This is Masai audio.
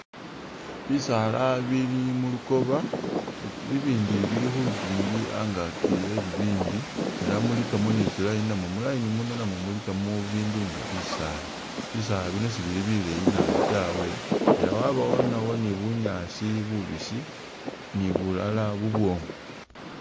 Bisaala bili mu lukoba bibindi bili khu lukiingi angaki eh bibindi ela mulikamo ni tsi line namwo mu line muno namwo mulikamo bindu nga bisaala. Bisaala bino sibili bikaali nabi tawe ela wabawo nawo ni bunyaasi bubisi ni bulala bubwoomu.